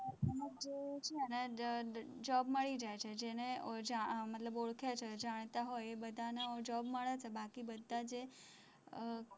job મળી જાય છે, જેને ઓજા, મતલબ કે ઓળખાણ છે, જાણતા હોય એ બધાને job મળે છે, બાકી બધા જે અહ